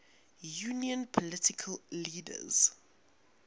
union political leaders